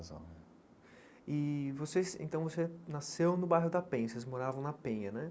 e vocês então você nasceu no bairro da Penha, vocês moravam na Penha, né?